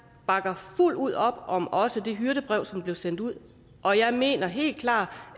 bakker fuldt ud op om også det hyrdebrev som blev sendt ud og jeg mener helt klart